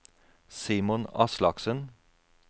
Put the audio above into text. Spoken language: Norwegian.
Simon Aslaksen